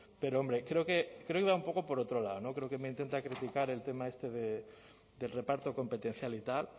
pero hombre creo que iba un poco por otro lado no creo que me intenta criticar el tema este del reparto competencial y tal